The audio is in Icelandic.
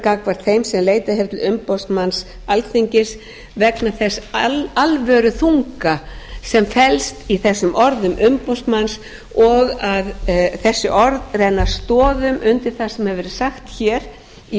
gagnvart þeim sem leitað hefur til umboðsmanns alþingis vegna þess alvöruþunga sem felst í þessum orðum umboðsmanns og að þessi orð renna stoðum undir það sem hefur verið sagt hér í